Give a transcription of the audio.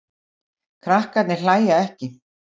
Krakkarnir hlæja ekki.